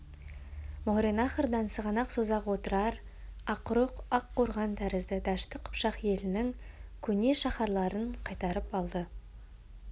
мауреннахрдан сығанақ созақ отырар ақрұқ ақ-қорған тәрізді дәшті қыпшақ елінің көне шаһарларын қайтарып алды